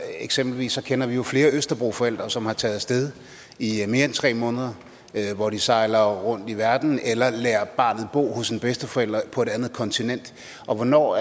eksempelvis kender vi jo flere østerbroforældre som er taget af sted i mere end tre måneder hvor de sejler rundt i verden eller lader barnet bo hos en bedsteforælder på et andet kontinent hvornår